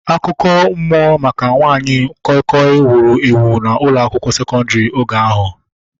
Akụkọ mmụọ maka nwanyị koi koi wuru ewu n'ụlọ akwụkwọ sekondri oge ahu